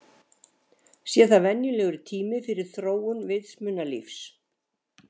Sé það venjulegur tími fyrir þróun vitsmunalífs.